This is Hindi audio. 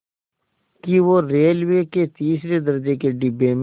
कि वो रेलवे के तीसरे दर्ज़े के डिब्बे में